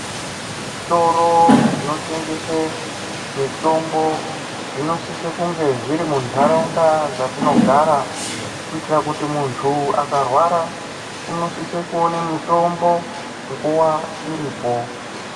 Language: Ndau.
Zvitoro zvinotengese mitombo zvinosisa kunge zviri muntaraunda dzatinogara kuitira kuti muntu akarwara unosise kuone mutombo nguwa iripo.